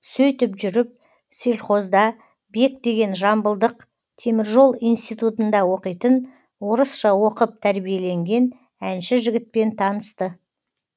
сөйтіп жүріп сельхозда бек деген жамбылдық теміржол институтында оқитын орысша оқып тәрбиеленген әнші жігітпен танысты